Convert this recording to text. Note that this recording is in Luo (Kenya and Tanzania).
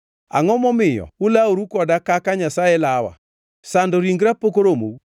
Angʼo momiyo ulaworu koda kaka Nyasaye lawa? Sando ringra pok oromou?